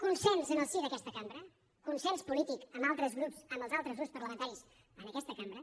consens en el si d’aquesta cambra consens polític amb els altres grups parlamentaris en aquesta cambra